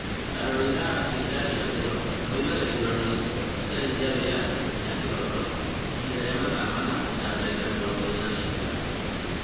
Arori a Afrika ya irathi͂ro moigaga ithurano icio ciari͂ cia wi͂yathi na ki͂hooto, ihinda 4:45.